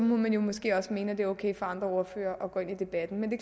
må man måske også mene at det er okay for andre ordførere at gå ind i debatten men det